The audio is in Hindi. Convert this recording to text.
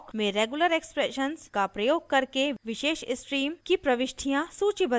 awk में regular expression का प्रयोग करके विशेष स्ट्रीम की प्रविष्टियाँ सूचीबद्ध करना